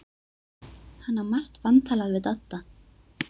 Hann á margt vantalað við Dodda.